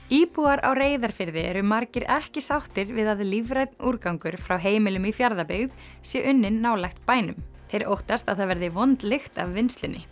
íbúar á Reyðarfirði eru margir ekki sáttir við að lífrænn úrgangur frá heimilum í Fjarðabyggð sé unninn nálægt bænum þeir óttast að það verði vond lykt af vinnslunni